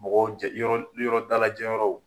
Mɔgɔw jɛ yɔrɔ yɔrɔ dalajɛ yɔrɔw